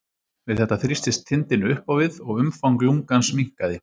Við þetta þrýstist þindin upp á við og umfang lungans minnkaði.